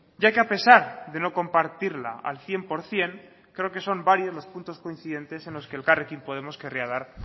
ya que a pesar de no compartirla al cien por ciento creo que son varios los puntos coincidentes en los que elkarrekin podemos querría dar